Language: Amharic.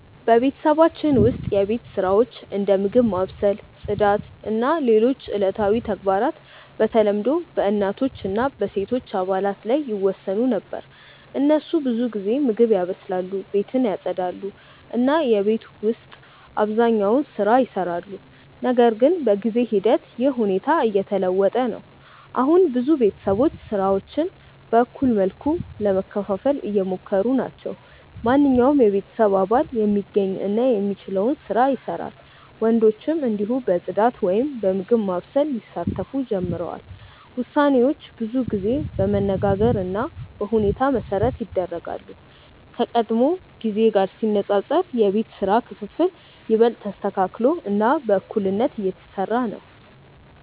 በቤተሰባችን ውስጥ የቤት ስራዎች እንደ ምግብ ማብሰል፣ ጽዳት እና ሌሎች ዕለታዊ ተግባራት በተለምዶ በእናቶች እና በሴቶች አባላት ላይ ይወሰኑ ነበር። እነሱ ብዙ ጊዜ ምግብ ያበስላሉ፣ ቤትን ያጽዳሉ እና የቤት ውስጥ አብዛኛውን ስራ ይሰራሉ። ነገር ግን በጊዜ ሂደት ይህ ሁኔታ እየተለወጠ ነው። አሁን ብዙ ቤተሰቦች ስራዎችን በእኩል መልኩ ለመከፋፈል እየሞከሩ ናቸው። ማንኛውም የቤተሰብ አባል የሚገኝ እና የሚችለውን ስራ ይሰራል፣ ወንዶችም እንዲሁ በጽዳት ወይም በምግብ ማብሰል ሊሳተፉ ጀምረዋል። ውሳኔዎች ብዙ ጊዜ በመነጋገር እና በሁኔታ መሠረት ይደረጋሉ፣ ከቀድሞ ጊዜ ጋር ሲነጻጸር የቤት ስራ ክፍፍል ይበልጥ ተስተካክሎ እና በእኩልነት እየተሰራ ነው።